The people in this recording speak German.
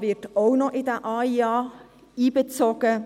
auch noch in den AIA einbezogen.